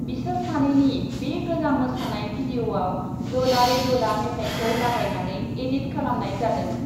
बिसोर सानैनि बे गोजाम मोसानाय भिडिअआव डोला रे डोला मेथाइखौ लागायनानै एडिट खालामनाय जादों ।